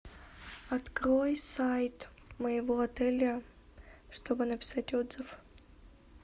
открой сайт моего отеля чтобы написать отзыв